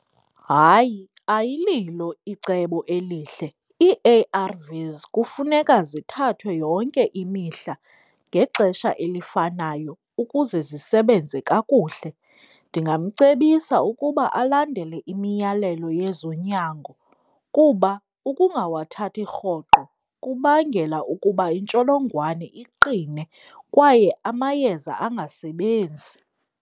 Hayi, ayililo icebo elihle. Ii-A_R_Vs kufuneka zithathwe yonke imihla ngexesha elifanayo ukuze zisebenze kakuhle. Ndingamcebisa ukuba alandele imiyalelo yezonyango kuba ukungawathathi rhoqo kubangela ukuba intsholongwane iqine kwaye amayeza angasebenzi.